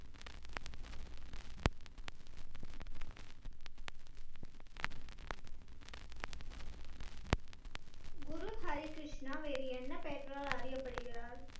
குரு ஹரி கிருஷ்ணா வேறு என்ன பெயர்களால் அறியப்படுகிறார்